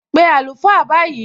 Pé àlùfáà báyìí!